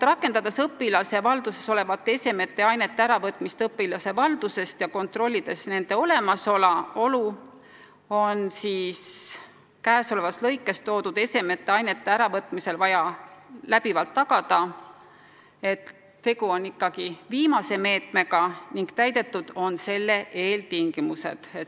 Rakendades õpilase valduses olevate esemete ja ainete äravõtmist õpilase valdusest ja kontrollides nende olemasolu, on vaja alati tagada, et tegu on ikkagi järjekorras viimase meetmega ning täidetud on selle eeltingimused.